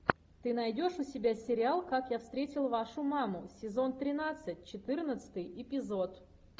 ты найдешь у себя сериал как я встретил вашу маму сезон тринадцать четырнадцатый эпизод